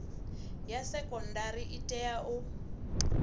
ya sekondari i tea u